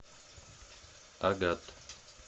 агат